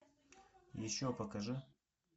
еще покажи